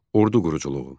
Ordu quruculuğu.